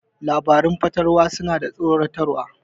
Labaran fatalwa suna da tsoratarwa.